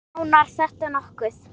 Skánar þetta nokkuð?